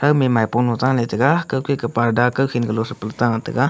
game maipolo ta letaiga kawki ka purda kawkhi kalo pal ta taiga.